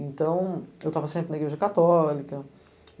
Então, eu estava sempre na igreja católica.